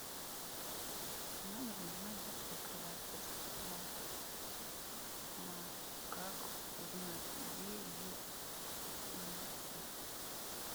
в номер нужна детская кровать подскажи пожалуйста как узнать где ее найти